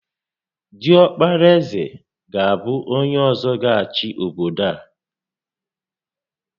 Diọkpara ézè ga abụ onyé ọzọ gá achị obodo a